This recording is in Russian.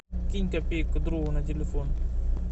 кинь копейку другу на телефон